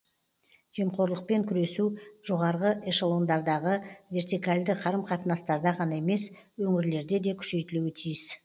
жемқорлықпен күресу жоғарғы эшелондардағы вертикальді қарым қатынастарда ғана емес өңірлерде де күшейтілуі тиіс